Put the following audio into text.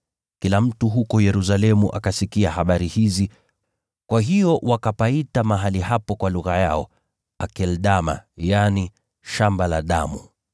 Kila mtu Yerusalemu akasikia habari hizi, kwa hiyo wakapaita mahali hapo kwa lugha yao, Akeldama, yaani Shamba la Damu).